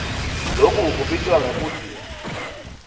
loku kubitwa ngekutsi